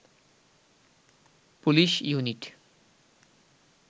police unit